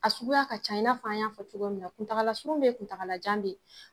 A sugu y'a ka can i n'a fɔ an y'a fɔ cogo min na kuntagala surun bɛ ye kuntagala jan bɛ ye.